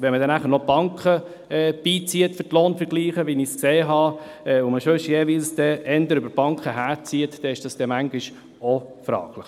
Wenn man bei den Lohnvergleichen noch die Banken einbezieht, so wie ich dies gesehen habe, und wie man jeweils eher über die Banken herzieht, so ist dies manchmal auch fraglich.